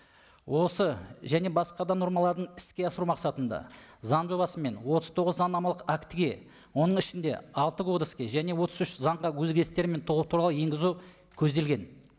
осы және басқа да нормаларын іске асыру мақсатында заң жобасы мен отыз тоғыз заңнамалық актіге оның ішінде алты кодекске және отыз үш заңға өзгерістер мен толықтырулар енгізу көзделген